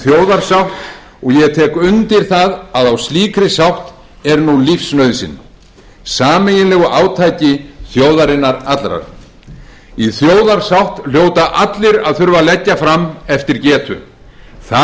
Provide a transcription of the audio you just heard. þjóðarsátt og ég tek undir það að á slíkri sátt er nú lífsnauðsyn sameiginlegu átaki þjóðarinnar allrar í þjóðarsátt hljóta allir að þurfa að leggja fram eftir getu það